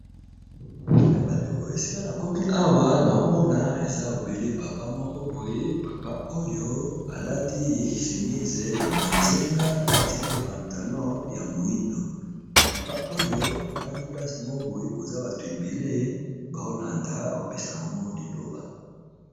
Na ba ndeko esika nakomi awa na omona eza obele papa moko boye papa oyo alati semise ya bozinga alati pe pantalon ya moindo papa oyo afandi plase moko boye koza bato ebele ba olanda aopesa bango liloba.